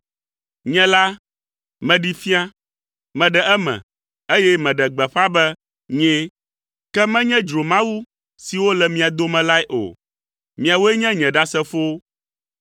Nye la, meɖee fia. Meɖe eme, eye meɖe gbeƒã be nyee, ke menye dzromawu siwo le mia dome lae o. Miawoe nye nye ɖasefowo.”